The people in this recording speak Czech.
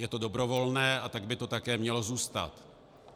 Je to dobrovolné a tak by to také mělo zůstat.